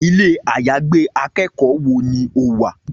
Ilé-àyágbé akẹ́kọ̀ọ́ wo ni o wà?